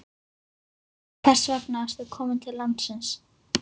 En hvers vegna ertu kominn til landsins?